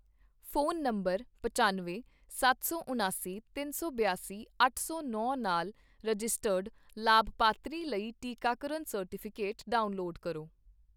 phone number ਪਚਾਨਵੇਂ, ਸੱਤ ਸੌ ਉਣਾਸੀ, ਤਿੰਨ ਸੌ ਬਿਆਸੀ, ਅੱਠ ਸੌ ਨੌ ਨਾਲ ਰਜਿਸਟਰਡ ਲਾਭਪਾਤਰੀ ਲਈ ਟੀਕਾਕਰਨ ਸਰਟੀਫਿਕੇਟ ਡਾਊਨਲੋਡ ਕਰੋ